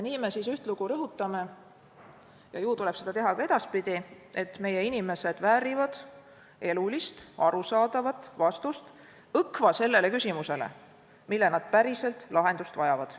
Nii me ühtlugu rõhutame – ja ju tuleb seda teha ka edaspidi –, et meie inimesed väärivad elulist ja arusaadavat vastust õkva sellele küsimusele, millele nad päriselt lahendust vajavad.